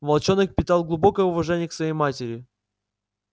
волчонок питал глубокое уважение к своей матери